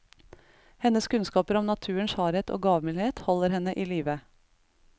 Hennes kunnskaper om naturens hardhet og gavmildhet holder henne i livet.